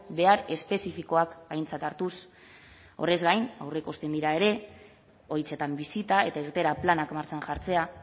behar espezifikoak aintzat hartuz horrez gain aurreikusten dira ere egoitzetan bisitak eta irteera planak martxan jartzea